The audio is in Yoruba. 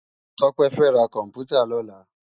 Tope fè rá kòmpútá lòlá